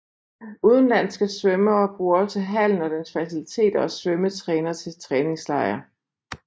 Udenlandske svømmere bruger også hallen og dens faciliteter og svømmetræner til træningslejr